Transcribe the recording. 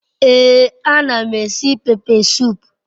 Ee anam esi pepe sup